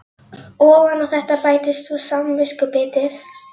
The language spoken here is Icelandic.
Ofan á þetta bættist svo samviskubitið.